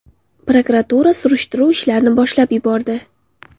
Prokuratura surishtiruv ishlarini boshlab yubordi.